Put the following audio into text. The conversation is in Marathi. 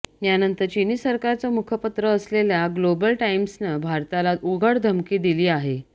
यानंतर चिनी सरकारचं मुखपत्र असलेल्या ग्लोबल टाईम्सनं भारताला उघड धमकी दिली आहे